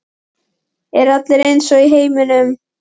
Eru allir eins í heiminum?